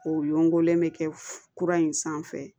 O yonkolen mɛ kɛ kura in sanfɛ